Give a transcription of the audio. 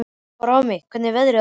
Fránn, hvernig er veðrið á morgun?